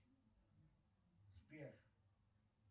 сбер